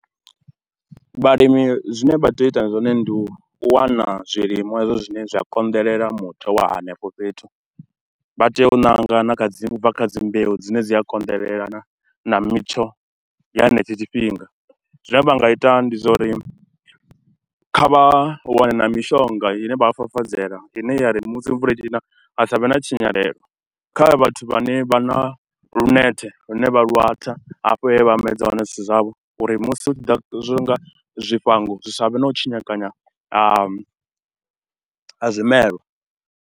Vhalimi zwine vha tea u ita zwone ndi u wana zwilimwa hezwo zwine zwa konḓelela muthu wa henefho fhethu, vha tea u ṋanga na kha dzi, na kha dzi mbeu dzi ne dzi a kondelelana na mitsho ya henetsho tshifhinga. Zwine vha nga ita ndi zwa uri kha vha wane na mishonga ine vha a fafadzela, ine ya ri musi mvula i tshi na ha sa vhe na tshinyalelo. Kha vhathu vhane vha na lunethe lune vha lu atha hafho he vha medza hone zwithu zwavho uri musi hu tshi ḓa zwa u nga zwifhango, zwi sa vhe na u tshinyekanya ha, ha zwimelwa.